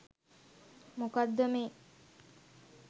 මොකද්ද මේ